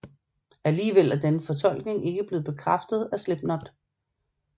Alligevel er denne fortolkning ikke blevet bekræftet af Slipknot